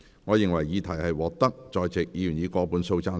我認為議題獲得在席議員以過半數贊成。